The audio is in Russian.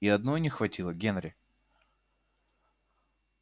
и одной не хватило генри